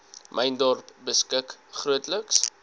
myndorp beskik grootliks